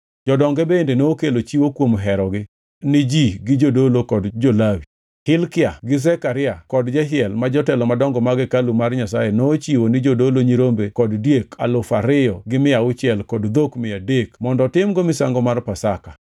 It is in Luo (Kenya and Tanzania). Jodonge bende nokelo chiwo kuom herogi ni ji gi jodolo kod jo-Lawi. Hilkia gi Zekaria kod Jehiel ma jotelo madongo mag hekalu mar Nyasaye nochiwo ni jodolo nyirombe kod diek alufu ariyo gi mia auchiel kod dhok mia adek mondo otimgo misango mar Pasaka.